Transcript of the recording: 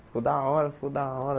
Ficou da hora, ficou da hora.